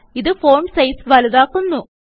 ഇത് font size വലുതാക്കുന്നു